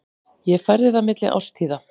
Ég færði það milli árstíða.